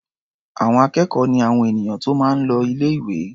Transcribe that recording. Àwọn akẹ́kọ̀ọ́ ni àwọn ènìyàn tó máa ń l o ilé-ìwé.